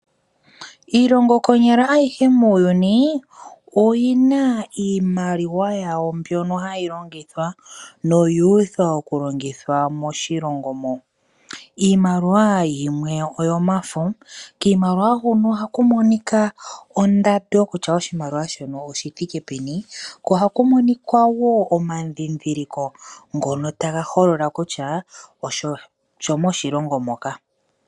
Iilongo ayihe konyala muuyuni oyina iimaliwa yawo mbyono hayi longithwa noyuuthwa okulongitha moshilongo mo. Iimaliwa yimwe oyomafo no kiimaliwa huno ohaku adhika ondando kutya oshimaliwa shoka oshithike peni ohaku monika woo omandhindhiliko ngono taga holola kutya oshimaliwa oshomoshilongo moka.